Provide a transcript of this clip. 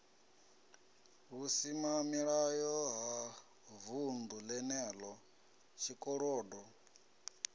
vhusimamilayo ha vunḓu lenelo tshikolodo